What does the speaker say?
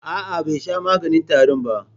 A'a, bai sha maganin tarin ba.